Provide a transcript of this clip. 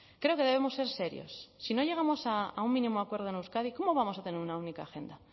creo que debemos ser serios si no llegamos a un mínimo acuerdo en euskadi cómo vamos a tener una única agenda